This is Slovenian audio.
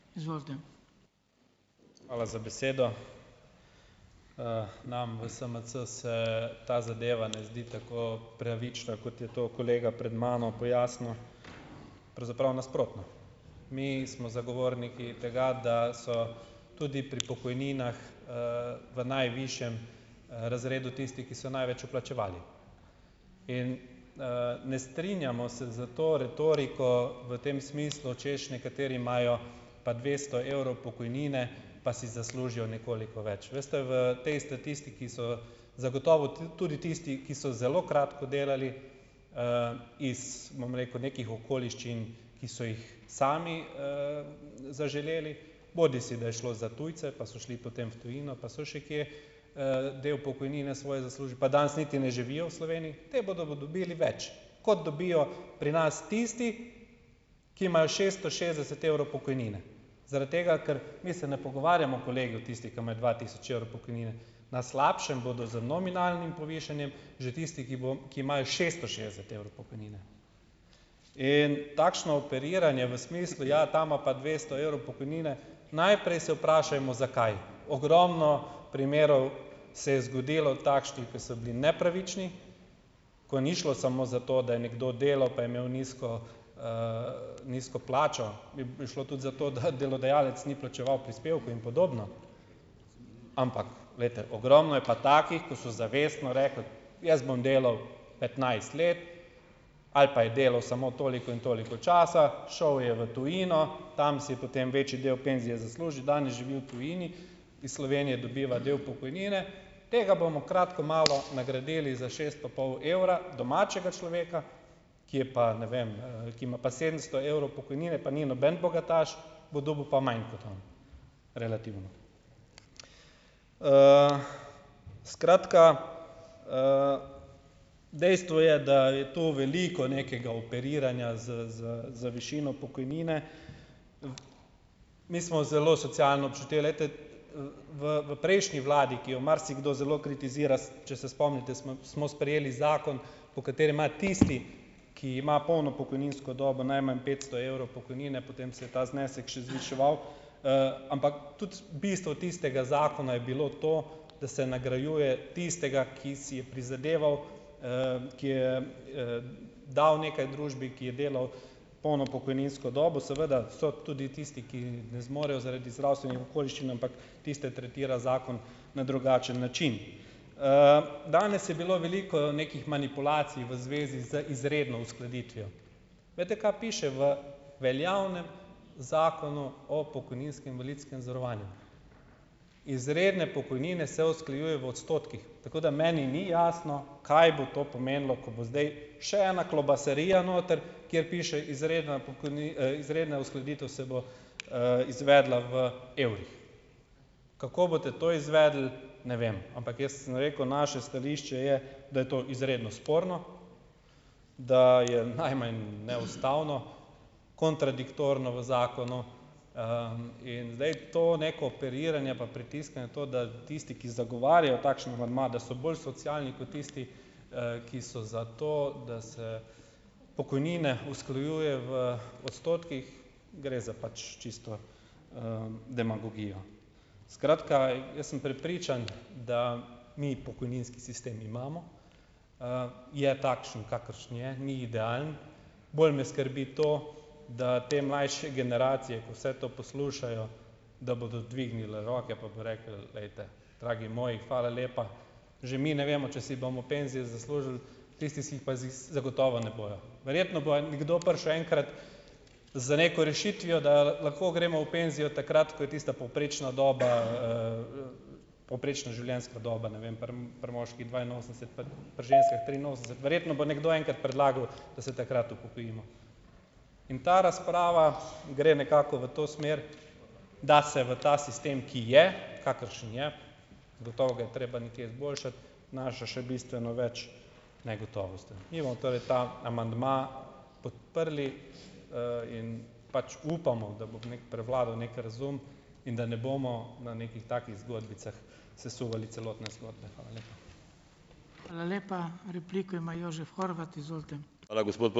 Hvala za besedo. nam v SMC se ta zadeva ne zdi tako pravična, kot je to kolega pred mano pojasnil. Pravzaprav nasprotno. Mi smo zagovorniki tega, da so tudi pri pokojninah, v najvišjem, razredu tisti, ki so največ vplačevali. In, ne strinjamo se s to retoriko v tem smislu, češ nekateri imajo pa dvesto evrov pokojnine, pa si zaslužijo nekoliko več. Veste, v tej statistiki so zagotovo tudi tisti, ki so zelo kratko delali, iz, bom rekel, nekih okoliščin, ki so jih sami, zaželeli, bodisi da je šlo za tujce, pa so šli potem v tujino pa so še kje, del pokojnine svoje zaslužili, pa danes niti ne živijo v Sloveniji, ti bodo dobili več, kot dobijo pri nas tisti, ki imajo šesto šestdeset evrov pokojnine. Zaradi tega, ker mi se ne pogovarjamo, kolegi, o tistih, ki imajo dva tisoč evrov pokojnine. Na slabšem bodo z nominalnim povišanjem že tisti, ki ki imajo šesto šestdeset evrov pokojnine. In takšno operiranje v smislu; ja, ta ima pa dvesto evrov pokojnine, najprej se vprašajmo, zakaj. Ogromno primerov se je zgodilo takšnih, ko so bili nepravični, ko ni šlo samo za to, da je nekdo delal, pa je imel nizko, nizko plačo, je šlo tudi za to, da delodajalec ni plačeval prispevkov in podobno, ampak veste, ogromno je pa takih, ko so zavestno rekli, jaz bom delal petnajst let, ali pa je delal samo toliko in toliko časa, šel je v tujino, tam si je potem večji del penzije zaslužil, danes živi v tujini, iz Slovenije dobiva del pokojnine, tega bomo kratko malo nagradili s šest pa pol evra, domačega človeka, ki je pa ne vem, ki ima pa sedemsto evrov pokojnine, pa ni noben bogataš, bo dobil pa manj kot on, relativno. skratka, dejstvo je, da je to veliko nekega operiranja z z z višino pokojnine. Mi smo zelo socialno občutili, glejte, v prejšnji vladi, ki jo marsikdo zelo kritizira, če se spomnite, smo sprejeli zakon, po katerem ima tisti, ki ima polno pokojninsko dobo, najmanj petsto evrov pokojnine, potem se je ta znesek še zviševal, ampak tudi bistvo tistega zakona je bilo to, da se nagrajuje tistega, ki si je prizadeval, ki je, dal nekaj družbi, ki je delal polno pokojninsko dobo. Seveda so tudi tisti, ki ne zmorejo zaradi zdravstvenih okoliščin, ampak tiste tretira zakon na drugačen način. danes je bilo veliko nekih manipulacij v zvezi z izredno uskladitvijo. Veste, kaj piše v veljavnem zakonu o pokojninskem invalidskem zavarovanju? Izredne pokojnine se usklajujejo v odstotkih, tako da meni ni jasno, kaj bo to pomenilo, ko bo zdaj še ena klobasarija noter, kjer piše izredna izredna uskladitev se bo, izvedla v evrih. Kako boste to izvedli, ne vem. Ampak jaz sem rekel; naše stališče je, da je to izredno sporno, da je najmanj neustavno, kontradiktorno v zakonu, in zdaj to neko operiranje pa pritiskanje na to, da tisti, ki zagovarjajo takšen amandma, da so bolj socialni kot tisti, ki so za to, da se pokojnine usklajuje v odstotkih. Gre za pač čisto, demagogijo. Skratka, jaz sem prepričan, da mi pokojninski sistem imamo, je takšen, kakršen je. Ni idealen. Bolj me skrbi to, da te mlajše generacije, ko vse to poslušajo, da bodo dvignile roke pa bojo rekli: "Glejte, dragi moji, hvala lepa." Že mi ne vemo, če si bomo penzije zaslužili, tisti si jih pa zagotovo ne bojo. Verjetno bo nekdo prišel enkrat z neko rešitvijo, da lahko gremo v penzijo takrat, ko je tista povprečna doba, povprečna življenjska doba, ne vem, pri pri moški dvainosemdeset, pri pri ženskah triinosemdeset, verjetno bo nekdo enkrat predlagal, da se takrat upokojimo. In ta razprava gre nekako v to smer, da se v ta sistem, ki je, kakršen je, gotovo ga je treba nekje izboljšati, vnaša še bistveno več negotovosti. Mi bomo torej ta amandma podprli, in pač upamo, da bo neki prevladal neki razum in da ne bomo na nekih takih zgodbicah sesuvali celotne zgodbe. Hvala lepa.